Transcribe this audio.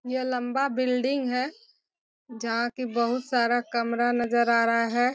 यह लम्बा बिल्डिंग है। जहाँ के बहुत सारा कमरा नजर आ रहा है।